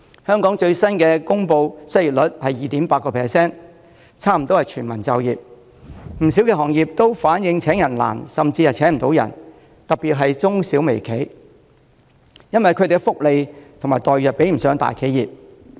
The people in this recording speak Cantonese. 香港最新公布的失業率為 2.8%， 差不多是全民就業，不少行業均反映請人難甚至請不到人，特別是中小微企，因為他們提供的福利和待遇不及大企業。